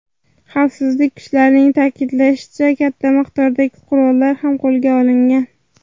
Xavfsizlik kuchlarining ta’kidlashicha, katta miqdordagi qurollar ham qo‘lga olingan.